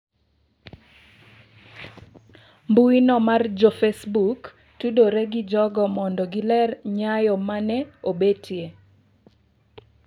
Mbuyino mar jofacebook tudore gi jogo mondo giler nyao ma ne obetie.